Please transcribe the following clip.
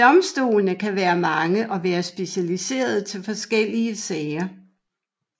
Domstolene kan være mange og være specialiserede til forskellige sager